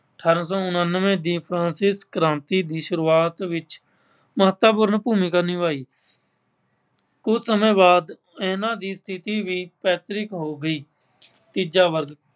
ਅਠਾਰਾਂ ਸੌ ਉੱਨਾਨਵੇਂ ਦੀ ਫ਼੍ਰਾਂਸਿਸ ਕ੍ਰਾਂਤੀ ਦੀ ਸ਼ੁਰੂਆਤ ਵਿੱਚ ਮਹੱਤਵਪੂਰਨ ਭੁਮਿਕਾ ਨਿਭਾਈ। ਕੁੱਝ ਸਮੇਂ ਬਾਅਦ ਇਨ੍ਹਾਂ ਦੀ ਸਥਿਤੀ ਵੀ ਪੈਤਰਿਕ ਹੋ ਗਈ। ਤੀਜਾ ਵਰਗ